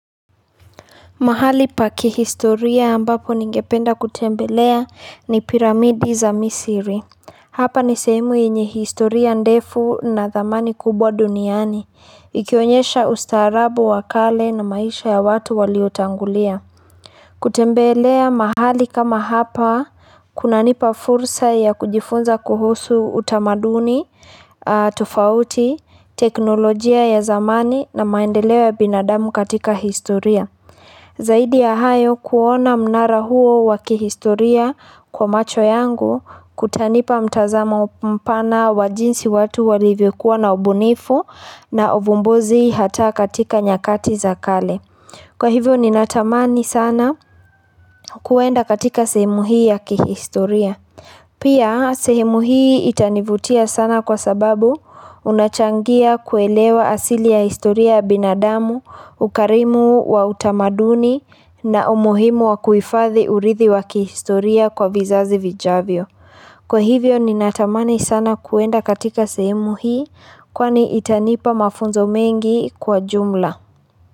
Mahali pa kihistoria ambapo ningependa kutembelea ni piramidi za misri. Hapa ni sehemu yenye historia ndefu na thamani kubwa duniani. Ikionyesha ustaarabu wa kale na maisha ya watu waliotangulia. Kutembelea mahali kama hapa, kunanipa fursa ya kujifunza kuhusu utamaduni, tofauti, teknolojia ya zamani na maendeleo ya binadamu katika historia. Zaidi ya hayo kuona mnara huo wa kihistoria kwa macho yangu kutanipa mtazamo mpana wa jinsi watu walivyokuwa na ubunifu na uvumbuzi hata katika nyakati za kale. Kwa hivyo ninatamani sana kwenda katika sehemu hii ya kihistoria. Pia sehemu hii itanivutia sana kwa sababu kunachangia kuelewa asili ya historia binadamu, ukarimu wa utamaduni na umuhimu wa kuhifadhi urithi wa kihistoria kwa vizazi vijavyo. Kwa hivyo ninatamani sana kwenda katika sehemu hii kwani itanipa mafunzo mengi kwa jumla.